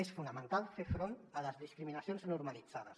és fonamental fer front a les discriminacions normalitzades